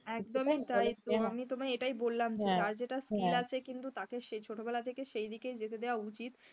হ্যাঁ একদমই তাই আমি তোমায় এটাই বললাম যার যেটা skill আছে কিন্তু তাকে ছোটবেলা থেকে সেদিকে যেতে দেওয়া উচিত,